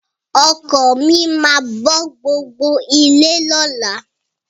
Ọkọ mi máa bọ́ gbogbo ilé lọ́la.